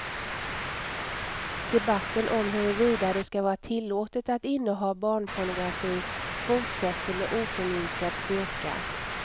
Debatten om huruvida det ska vara tillåtet att inneha barnpornografi fortsätter med oförminskad styrka.